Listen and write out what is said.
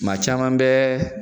Ma caman bɛɛ